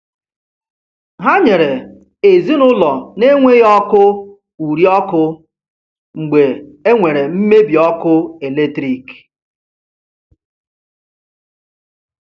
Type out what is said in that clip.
Ha nyere ezinụụlọ na-enweghị ọkụ uri ọkụ mgbe e nwere mmebi ọkụ eletrik.